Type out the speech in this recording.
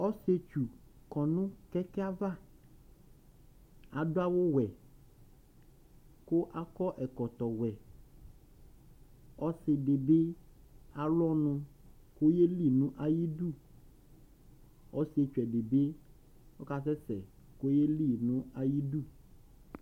Ɔssietsu kɔ nu kɛkɛ ayu ãvã Ãdu awu wɛ Ku akɔ ɛkɔtɔ wɛ Ɔssidi bi ãlu ɔnu ku oyeli nu ayiudu Ɔssietsu ɛdi bi oka sɛsɛ, ku oyeli nu ayu idu